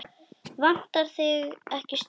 Vantar þig ekki stuð?